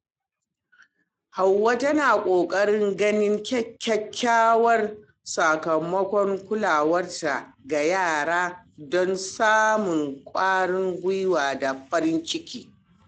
Hauwa tana kokarin ganin kyakkyawan sakamakon kulawarta ga yara don samun kwarin gwiwa da farin ciki.